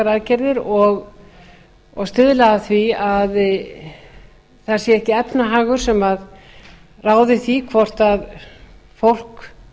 aðgerðir og stuðla að því að það sé ekki efnahagur sem ráði því hvort fólk